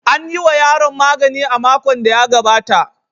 An yi wa yaron magani a makon da ya gabata.